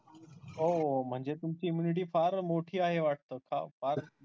ओ म्हणजे तुमची immunity फार मोठी आहे वाटतं. फार